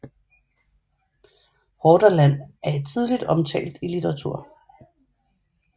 Hordaland er tidligt omtalt i litteratur